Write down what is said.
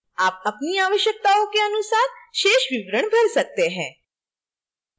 आप अपनी आवश्यकताओं के अनुसार शेष विवरण भर सकते हैं